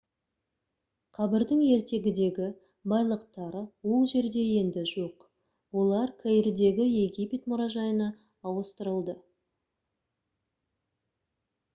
қабірдің ертегідегі байлықтары ол жерде енді жоқ олар каирдегі египет мұражайына ауыстырылды